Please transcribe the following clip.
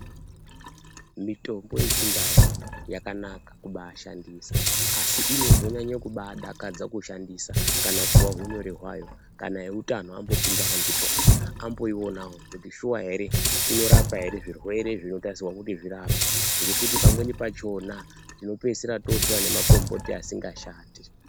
Mitombo yechindau yakanaka kubashandisa asi inozonyanye kubadakadza kushandisa kana kuwa hunyore hwayo kana eutano ambopindawo ndipona amboionawo kuti shuwa ere inorapa ere zvirwere zvinotarisirwa kuti zvirapwe ngekuti pamweni pachona tinopeisira totora nemakomboti asingashandi.